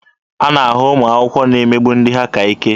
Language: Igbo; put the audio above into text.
A na-ahụ ụmụ akwụkwọ na-emegbu ndị ha ka ike.